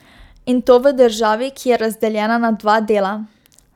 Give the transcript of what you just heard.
In to v državi, ki je razdeljena na dva dela.